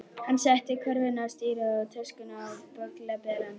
Hann setti körfuna á stýrið og töskuna á bögglaberann.